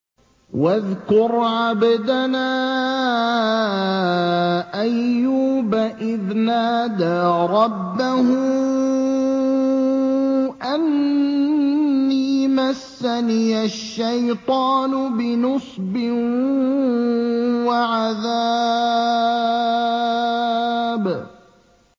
وَاذْكُرْ عَبْدَنَا أَيُّوبَ إِذْ نَادَىٰ رَبَّهُ أَنِّي مَسَّنِيَ الشَّيْطَانُ بِنُصْبٍ وَعَذَابٍ